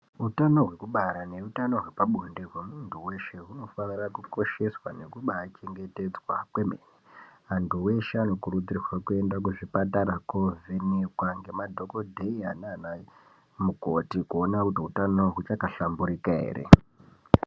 Utano hwekubara neutano hwepabonde hwemuntu weshe hwunofanirwa kukosheswa nekubaa chengetedzwa kwemene antu eshe anokurudzirwa kuenda kuzvipatara kovhenekwa ngemadhokodheya nanamukoti kuona kuti hwutano hwuchakahlamburika ere.